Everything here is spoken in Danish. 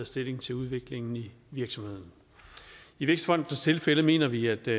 stilling til udviklingen i virksomheden i vækstfondens tilfælde mener vi at det